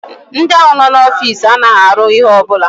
Ndị ahụ no n'ofiisi anaghị arụ ihe ọ bụla